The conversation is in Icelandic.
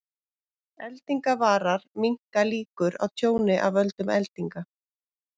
Eldingavarar minnka líkur á tjóni af völdum eldinga.